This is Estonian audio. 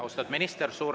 Austatud minister!